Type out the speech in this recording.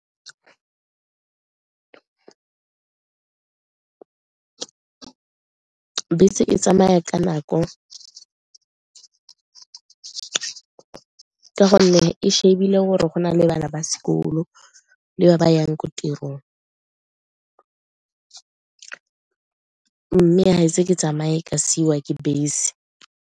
Bese e tsamaya ka nako ka gonne e shebile gore go na le bana ba sekolo le ba ba yang ko tirong mme ga ise ke tsamaye ka siiwa ke bese.